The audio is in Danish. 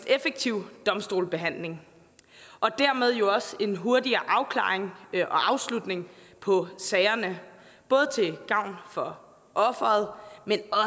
effektiv domstolsbehandling og dermed jo også til en hurtigere afklaring og afslutning på sagerne både til gavn for offeret men